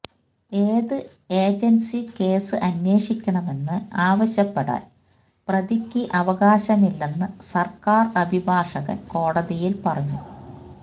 ഏത് agency case അന്വേഷിക്കണമെന്ന് ആവശ്യപ്പെടാൻ പ്രതിക്ക് അവകാശമില്ലെന്ന് സർക്കാർ അഭിഭാഷകൻ കോടതിയിൽ പറഞ്ഞു